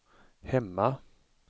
hemma